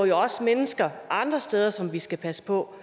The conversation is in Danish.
jo også mennesker andre steder som vi skal passe på